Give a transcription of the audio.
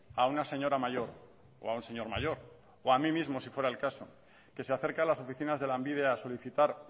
a una señora mayor o a un señor mayor o a mí mismo si fuera el caso que se acerca a las oficinas de lanbide a solicitar